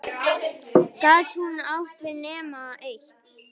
Gat hún átt við nema eitt?